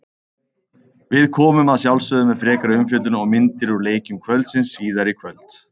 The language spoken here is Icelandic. Við komum að sjálfsögðu með frekari umfjöllun og myndir úr leikjum kvöldsins síðar í kvöld.